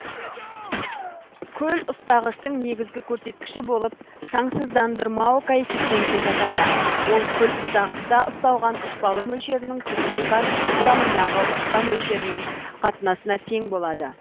күл ұстағыштың негізгі көрсеткіші болып шаңсыздандырмау коэффициенті жатады ол күл ұстағышта ұсталған ұшпалы мөлшерінің түтінді газ құрамындағы ұшпа мөлшерінің қатынасына тең болады